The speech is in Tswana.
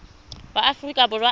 wa aforika borwa a ka